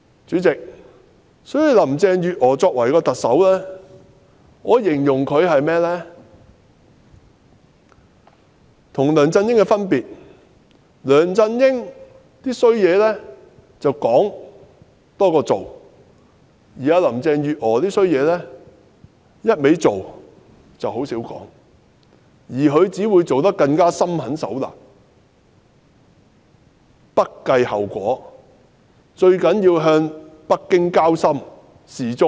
主席，我會形容特首林鄭月娥與梁振英的分別在於梁振英"多說話，少做事"，而林鄭月娥則是"多做事，少說話"，但她只會更心狠手辣，不計後果，最重要的是向北京交心表忠。